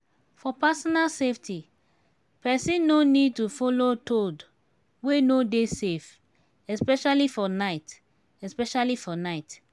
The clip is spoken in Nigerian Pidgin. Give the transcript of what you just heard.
for personal safety persons no need to follow toad wey no dey safe especially for night especially for night